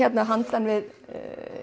handan við